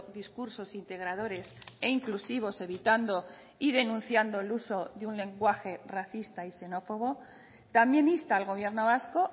discursos integradores e inclusivos evitando y denunciando el uso de un lenguaje racista y xenófobo también insta al gobierno vasco